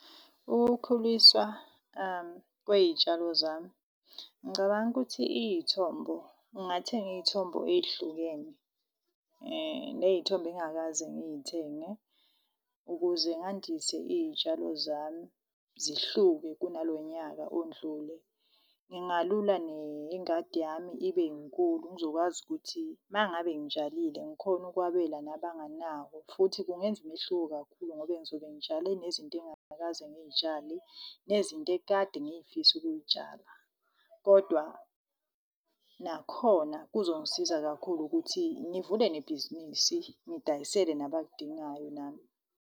Ukukhulisa kwey'tshalo zami, ngicabanga ukuthi iyithombo ngingathenga iy'thombo ehlukene ney'thombe engingakaze ngiyithenge ukuze ngandise iy'tshalo zami, zihluke kuna lonyaka ondlule. Ngingalula nengadi yami ibe nkulu, ngizokwazi ukuthi uma ngabe ngitshalile ngikhone ukwabela nabanye abanawo. Futhi kungenza umehluko kakhulu, ngoba ngizobe ngitshale nezinto engakaze ngiyitshalile nezinto ekade ngifisa ukuyitshala. Kodwa nakhona kuzongisiza kakhulu ukuthi ngivule nebhizinisi, ngidayisele nabakudingayo nami.